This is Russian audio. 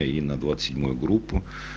и на двадцать седьмую группу